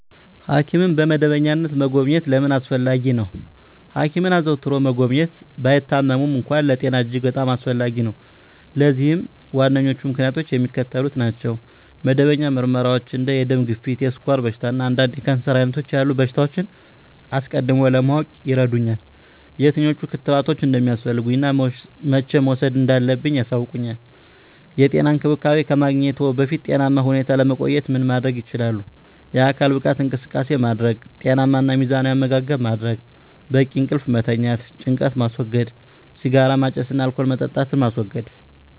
ሐኪምን በመደበኛነት መጎብኘት ለምን አስፈለጊ ነው? ሐኪምን አዘውትሮ መጎብኘት፣ ባይታመሙም እንኳ፣ ለጤና እጅግ በጣም አስፈላጊ ነው። ለዚህም ዋነኞቹ ምክንያቶች የሚከተሉት ናቸው። መደበኛ ምርመራዎች እንደ የደም ግፊት፣ የስኳር በሽታ፣ እና አንዳንድ የካንሰር ዓይነቶች ያሉ በሽታዎችን አስቀድሞ ለማወቅ ይረዱኛል። የትኞቹ ክትባቶች እንደሚያስፈልጉኝ እና መቼ መውሰድ እንዳለብኝ ያሳውቁኛል። *የጤና እንክብካቤ ከማግኘትዎ በፊት ጤናማ ሁነው ለመቆየት ምን ማድረግ ይችላሉ?*የአካል ብቃት እንቅስቃሴ ማድረግ * ጤናማ እና ሚዛናዊ አመጋገብ ማድረግ: * በቂ እንቅልፍ መተኛት * ጭንቀትን ማስወገድ * ሲጋራ ማጨስን እና አልኮል መጠጣትን ማስወገድ: